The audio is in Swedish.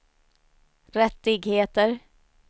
rättigheter